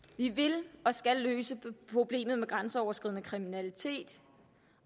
vi vil og skal løse problemet med den grænseoverskridende kriminalitet